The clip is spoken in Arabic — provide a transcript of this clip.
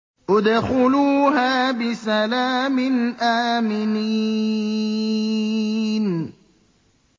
ادْخُلُوهَا بِسَلَامٍ آمِنِينَ